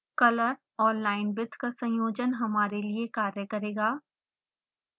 color और linewidth का संयोजन हमारे लिए कार्य करेगा